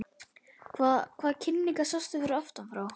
Hvaða, hvaða- kinnarnar sjást aftan frá!